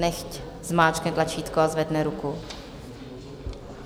Nechť zmáčkne tlačítko a zvedne ruku.